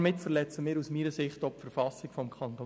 Damit verletzen wir aus meiner Sicht auch die KV.